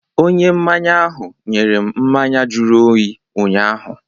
Onye mmanya ahụ nyere m mmanya jụrụ oyi ụnyaahụ.